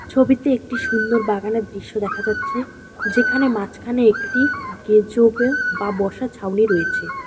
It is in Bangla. ছবিতে একটি সুন্দর বাগানের দৃশ্য দেখা যাচ্ছে যেখানে মাঝখানে একটি গেজোবে বা বসার ছাউনি রয়েছে।